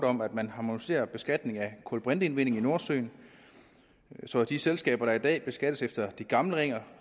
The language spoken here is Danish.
om at man harmoniserer beskatningen af kulbrinteindvinding i nordsøen så de selskaber der i dag beskattes efter de gamle regler